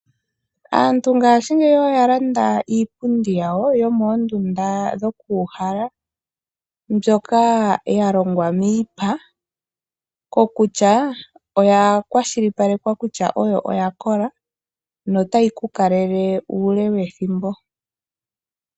Aantu ngashingeyi oya landa iipundi yawo yomoondunda dhokuuhala mbyoka ya longwa miipa, kokutya oya kwashilipalekwa kutya oya kola notayi ku kalele uule wethimbo.